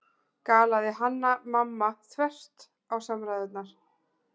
galaði Hanna-Mamma þvert á samræðurnar.